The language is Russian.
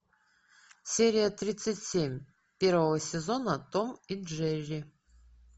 серия тридцать семь первого сезона том и джерри